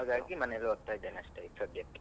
ಹಾಗಾಗಿ ಈಗ ಮನೆನಲ್ಲಿ ಓದ್ತಾ ಇದ್ದೇನೆ ಅಷ್ಟೇ ಈಗ ಸದ್ಯಕ್ಕೆ.